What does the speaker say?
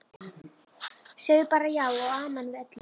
Sagði bara já og amen við öllu.